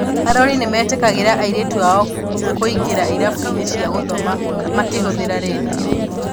arori nĩ meetĩkagĩria airĩtu ao kũingĩra irabu-inĩ cia gũthoma makĩhũthĩra rendio.